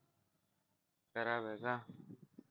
खराब आहे का